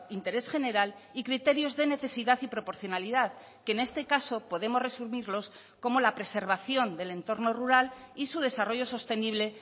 interés general y criterios de necesidad y proporcionalidad que en este caso podemos resumirlos como la preservación del entorno rural y su desarrollo sostenible